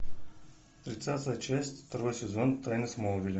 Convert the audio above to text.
тридцатая часть второй сезон тайны смолвиля